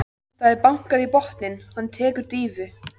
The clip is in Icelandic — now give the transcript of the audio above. Það er bankað í botninn, hann tekur dýfu.